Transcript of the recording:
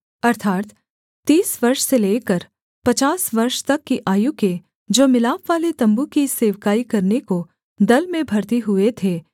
अर्थात् तीस वर्ष से लेकर पचास वर्ष तक की आयु के जो मिलापवाले तम्बू की सेवकाई करने को दल में भर्ती हुए थे